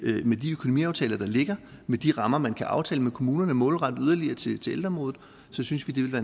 med de økonomiaftaler der ligger med de rammer man kan aftale med kommunerne målrette yderligere til ældreområdet så synes vi det vil